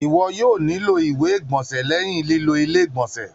Iwọ yoo nilo iwe igbọnsẹ lẹhin lilo ile-igbọnsẹ.